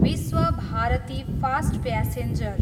Vishwabharati fast passenger